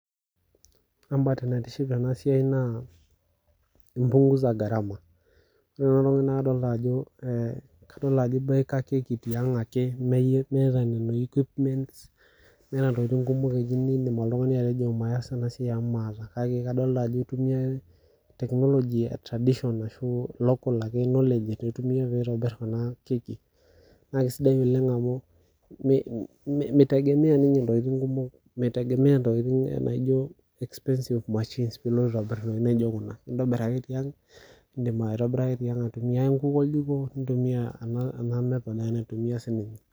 Ore mbae naitiship tena siai naa epunguza gharama ore Kuna tokitin Ajo eboeka tiang Miata Nona equipments Miata ntokitin kumok nimidim oltung'ani atejo nasisho amu maata kake kadol Ajo etumia local knowledge pee entobir ena keki naa kisidai amu mitegemea ntokitin naijio expensive machines pee elotu aitobir entokitin naijio Kuna entobir ake tiang aitumia nkuk oljiko nintumia